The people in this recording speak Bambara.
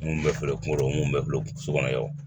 Mun bɛ feere kungolo mun bɛ so kɔnɔ yan o